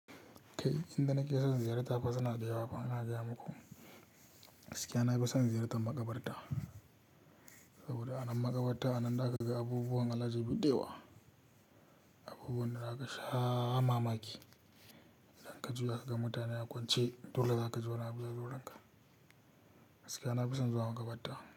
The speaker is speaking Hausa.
Kai inda nake son ziyarta fa suna da yawafa ina gaya muku. Gaskiya na fi son ziyartar maƙabarta, saboda a nan maƙabarta a nan za ka ga abubuwan al'ajabi da yawa, abubuwan da za ka sha mamaki. Idan ka juya ka ga mutane a kwance, dole za ka ji wani abu yazo ranka. Gaskiya na fi son zuwa maƙabarta.